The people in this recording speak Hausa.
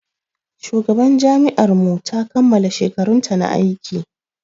Shugaban jami'ar mu ta kammala shekarunta na aiki.